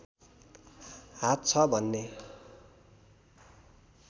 हात छ भन्ने